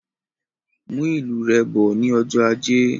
Mú ìlù rẹ bọ ní ọjọ ajé